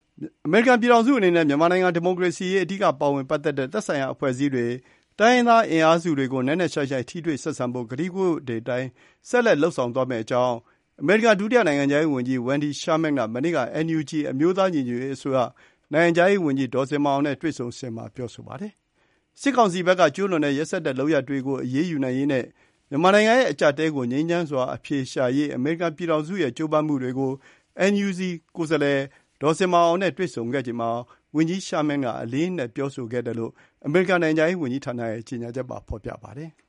အမေရိကန်ပြည်ထောင်စုအနေနဲ့ မြန်မာနိုင်ငံ ဒီမိုကရေစီရေး အဓိကပါဝင်ပတ်သက်တဲ့ သက်ဆိုင်ရာ အဖွဲ့အစည်းတွေ၊ တိုင်းရင်းသား အင်အားစုတွေကို နက်နက်ရှိုင်းရှိုင်း ထိတွေ့ဆက်ဆံဖို့ ကတိကဝတ်တွေအတိုင်း ဆက်လက် လုပ်ဆောင်သွားမယ့်အကြောင်း အမေရိကန် ဒုတိယ နိုင်ငံခြားရေးဝန်ကြီး Wendy Sherman က မနေ့က NUG အမျိုးသား ညီညွတ်ရေးအစိုးရ နိုင်ငံခြားရေးဝန်ကြီး ဒေါ်ဇင်မာအောင်နဲ့ ဖေဖော်ဝါရီ ၁၄ ရက်၊ အင်္ဂါနေ့က တွေ့ဆုံစဉ်မှာ ပြောဆိုပါတယ်။ စစ်ကောင်စီဘက်က ကျုးလွန်တဲ့ ရက်စက်တဲ့ လုပ်ရပ်တွေကို အရေးယူနိုင်ရေးနဲ့ မြန်မာနိုင်ငံရဲ့ အကျပ်အတည်းကို ငြိမ်းချမ်းစွာ အဖြေရှာရေး အမေရိကန်ပြည်ထောင်စုရဲ့ ကြိုးပမ်းမှုတွေကို NUG ကိုယ်စားလှယ် ဒေါ်ဇင်မာအောင်နဲ့ တွေ့ဆုံခဲ့ချိန်မှာ ဝန်ကြီး Sherman က အလေးအနက် ပြောဆိုခဲ့တယ်လို့ အမေရိကန် နိုင်ငံခြားရေးဝန်ကြီးဌာနရဲ့ ကြေညာချက်မှာ ဖေါ်ပြပါတယ်။